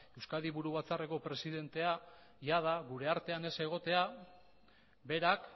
euskadi buru batzarreko presidentea jada gure artean ez egotea berak